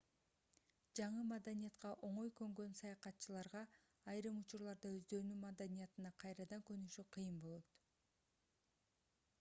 жаңы маданиятка оңой көнгөн саякатчыларга айрым учурларда өздөрүнүн маданиятына кайрадан көнүшү кыйын болот